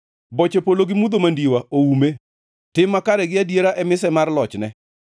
Boche polo gi mudho mandiwa oume; tim makare gi adiera e mise mar lochne.